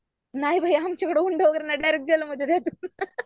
नाही बाई आमच्याकडं हुंडा वगैरे नाही डायरेक्ट जेल मधेच